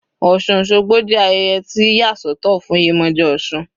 Osun osogbo jẹ́ ayẹyẹ tí wọ́n ti yà sọ́tọ̀ fún Yemoja osun.